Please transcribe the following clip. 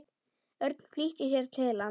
Örn flýtti sér til hans.